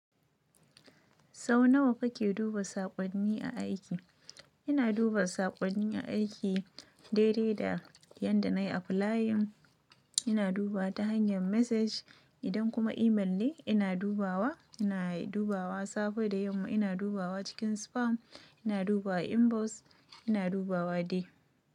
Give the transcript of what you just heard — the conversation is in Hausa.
Sau nawa kake duba saƙonni a aiki? Ina duba saƙonni aiki daidai da yanda nayi applying. Ina duba ta hanyar message. Idan kuma email ne, ina dubawa. Ina dubawa safe da yamma. Ina dubawa cikin spam. Ina duba inbox. Ina dubawa dai.